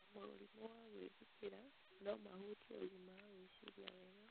na mũrimũ wa gwĩthikĩra no mahutie ũgima wa gwĩciria wega.